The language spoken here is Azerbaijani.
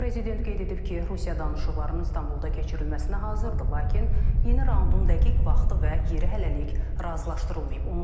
Prezident qeyd edib ki, Rusiya danışıqlarının İstanbulda keçirilməsinə hazırdır, lakin yeni raundun dəqiq vaxtı və yeri hələlik razılaşdırılmayıb.